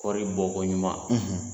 Kɔri bɔ ko ɲuman